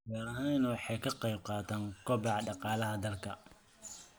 Beerahani waxa ay ka qayb qaataan kobaca dhaqaalaha dalka.